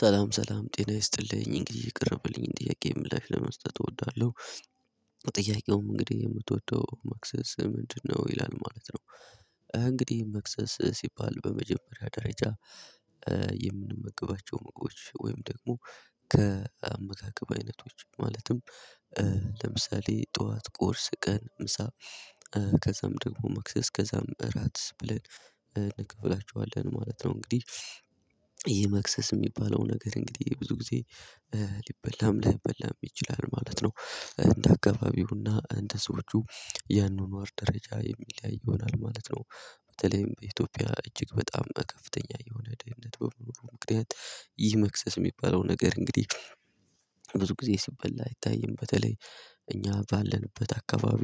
ሰላም ሰላም ጤና ይስጥልኝ እንግዲህ የቀረበልኝን ጥያቄ ምላሽ ለመስጠት እወዳለሁ። ጥያቄውም እንግዲህ የምትወደው መክሰስ ምንድነው ይላል ማለት ነው። እንግዲህ መክሰስ ሲባል በመጀመሪያ ደረጃ። የምንመገባቸው ምግቦች ወይም ደግሞ ከአመጋገብ አይነቶች ማለትም። ለምሳሌ ጠዋት ቁርስ ቀን ምሳ። ከዛም ደግሞ መክሰስ ከዛም እራት ብለን እንከፍላቸዋለን ማለት ነው እንግዲህ። ይሄ መክሰስ የሚባለው ነገር እንግዲህ ብዙ ጊዜ ሊበላም ላይበላም ይችላል ማለት ነው። እንደ አካባቢውና እንደ ሰዎቺ የአኗኗር ደረጃ የሚለያይ ይሆናል ማለት ነው። በተለይም በኢትዮጵያ እጅግ በጣም ከፍተኛ የሆነ ደህንነት በመኖሩ ምክንያት ይህ መክሰስ የሚባለው ነገር እንግዲህ። ብዙ ጊዜ ሲበላ አይታይም። በተለይ እኛ ባለንበት አካባቢ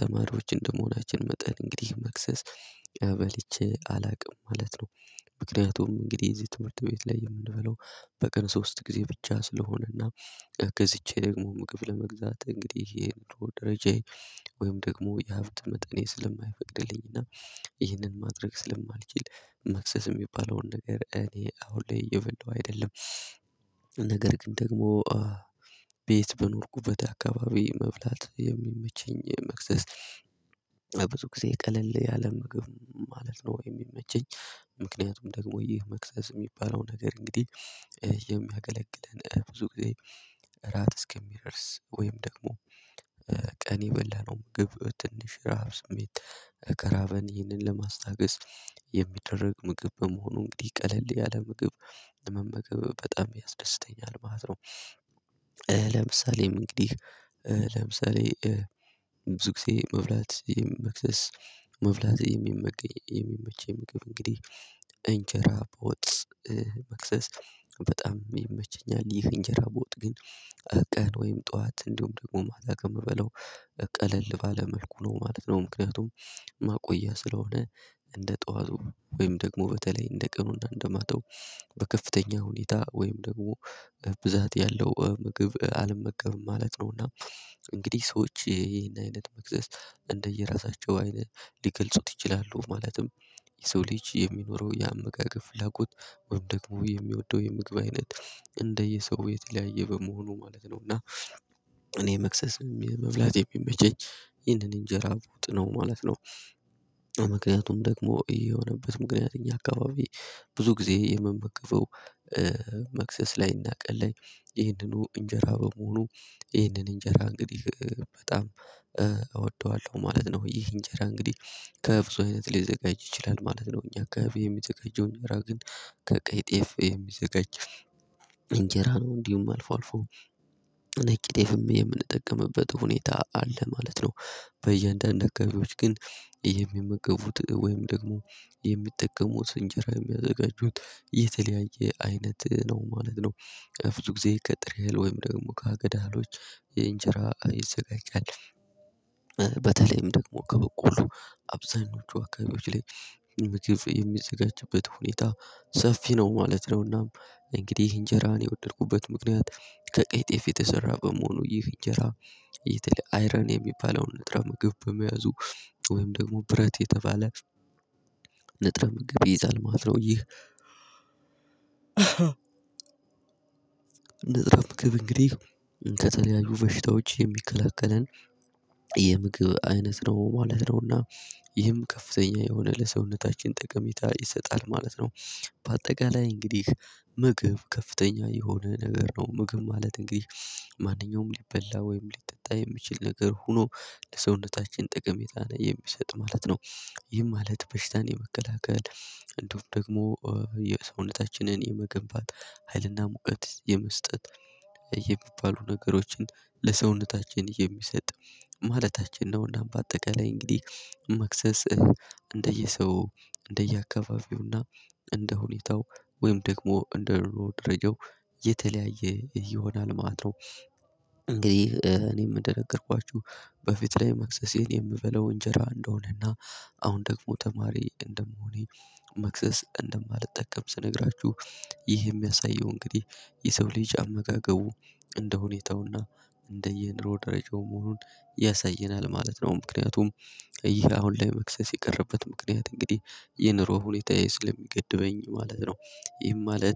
ተማሪዎች እንደመሆናችን መጠን እንግዲህ መክሰስ በልቸ አላውቅም ማለት ነው፤ ምክንያቱም እንግዲህ የዚህ ትምህርት ቤት ላይ የምንበለው በቀን ሶስት ጊዜ ብቻ ስለሆነና። ገዝቼ ደግሞ ምግብ ለመግዛት እንግዲህ የኑሮ ደረጃዬ ወይም ደግሞ የሀብት መጠኔ ስለማይፈቅድልኝና። ይህንን ማድረግ ስለማልችል መክሰስ የሚባለውን ነገር እኔ አሁን ላይ እየበላሁ አይደለም፤ ነገር ግን ደግሞ። ቤት በኖርኩበት አካባቢ መብላት የሚመቸኝ መክሰስ ብዙ ጊዜ ቀለል ያለ ምግብ ማለት ነው ወይም የሚመቸኝ። ምክንያቱም ደግሞ ይህ መክሰስ የሚባለው ነገር እንግዲህ። የሚያገለግለን ብዙ ጊዜ ራት እስከሚደርስ ወይም ደግሞ ቀን የበላነው ምግብ ትንሽ ራብ ስሜት ከራበን ይህንን ለማስታገስ የሚደረግ ምግብ በመሆኑ እንግዲህ ቀለል ያለ ምግብ ለመመገብ በጣም ያስደስተኛል ማለት ነው። ለምሳሌም እንግዲህ ለምሳሌ ብዙ ጊዜ መብላት መክሰስ። መብላት የሚመቸኝ ምግብ እንግዲህ እንጀራ በወጥ። መክሰስ በጣም ይመቸኛል ይህ እንጀራ በወጥ ግን። ቀን ወይም ጠዋት እንዲሁም ደግሞ ማታ ከምበላው ቀለል ባለ መልኩ ነው ማለት ነው። ምክንያቱም ማቆያ ስለሆነ። እንደ ጠዋቱ ወይም ደግሞ በተለይ እንደ ቀኑና እንደማታው በከፍተኛ ሁኔታ ወይም ደግሞ ብዛት ያለው ምግብ አልመገብም ማለት ነውና። እንግዲህ ሰዎች ይሄን አይነት መክሰስ እንደየራሳቸው አይነት ሊገልጹት ይችላሉ ማለትም። የሰው ልጅ የሚኖረው የአመጋገብ ፍላጎት ወይም ደግሞ የሚወደው የምግብ አይነት እንደየሰው የተለያየ በመሆኑ ማለት ነው እና እኔ መክሰስ የሚል መብላት የሚመቸኝ ይህንን እንጀራ በወጥ ነው ማለት ነው፤ ምክንያቱም ደግሞ የሆነበት ምክንያት እኛ አካባቢ ብዙ ጊዜ የመመከፈው። መክሰስ ላይ እና ቀን ላይ ይህንኑ እንጀራ በመሆኑ ይህንን እንጀራ እንግዲህ በጣም እወደዋለሁ ማለት ነው። ይህ እንጀራ እንግዲህ ከብዙ አይነት ሊዘጋጅ ይችላል ማለት ነው። እኛ አካባቢ የሚዘጋጀው እኛ ግን ከቀይ ጤፍ የሚዘጋጅ እንጀራ ነው እንዲሁ አልፎ አልፎ ነጭ ጤፍም የምንጠቀምበት ሁኔታ አለ ማለት ነው። በእያንዳንድ አካባቢዎች ግን የሚመገቡት ወይም ደግሞ የሚጠቀሙት እንጀራ የሚያዘጋጁት የተለያየ አይነት ነው ማለት ነው፤ ብዙ ጊዜ ከጥሬ እህል ወይም ደግሞ ከአጋ እህሎች የእንጀራ ይዘጋጃል። በተለይም ደግሞ ከበቆሎ አብዛኞቹ አካባቢዎች ላይ የሚዘጋጅበት ሁኔታ ሰፊ ነው ማለት ነው። እናም እንግዲህ እንጀራን የወደድኩበት ምክንያት ከቀይ ጤፍ የተሰራ በመሆኑ ይህ እንጀራ የተለየ አይረን የሚባለውን ንጥረ ምግብ በመያዙ ወይም ደግሞ ብረት የተባለ ንጥረ ምግብ ይይዛል ማለት ነው። ይህ ንጥረ ምግብ እንግዲህ ከተለያዩ በሽታዎች የሚከለክለን የምግብ አይነት ነው ማለት ነውና። ይህም ከፍተኛ የሆነ ለሰውነታችን ጠቀሜታ ይሰጣል ማለት ነው። በአጠቃላይ እንግዲህ ምግብ ከፍተኛ የሆነ ነገር ነው ምግብ ማለት እንግዲህ ማንኛውም ሊበላ ወይም ሊጠጣ የሚችል ነገር ሆኖ ለሰውነታችን ጠቀሜታን የሚሰጥ ማለት ነው። ይህ ማለት በሽታን የመከላከል እንደውም ደግሞ የሰውነታችንን የመገንባት ሀይልና ሙቀት የመስጠት የሚባሉ ነገሮችን ለሰውነታችን የሚሰጥ ማለታችን ነውና። በአጠቃላይ እንግዲህ መክሰስ እንደየሰው እንደየአካባቢውና እንደሁኔታው ወይም ደግሞ እንደኑሮ ደረጃው የተለያየ ይሆናል ማለት ነው። እንግዲህ እኔም እንደነገርኳችሁ በፊት ላይ መክሰሴን የምበለው እንጀራ እንደሆነና አሁን ደግሞ ተማሪ እንደመሆኔ መክሰስ እንደማልጠቀም ስነግራችሁ ይህ የሚያሳየው እንግዲህ የሰው ልጅ አመጋገቡ እንደ ሁኔታውና እንደ የንሮ ደረጃው መሆኑን ያሳየናል ማለት ነው። ምክንያቱም ይሄ አሁን ላይ መክሰስ የቀረበት ምክንያት እንግዲህ የኑሮ ሁኔታዬ ስለሚገድበኝ ማለት ነው። ይህም ማለት